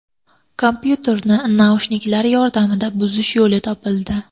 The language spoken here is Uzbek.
Kompyuterni naushniklar yordamida buzish yo‘li topildi.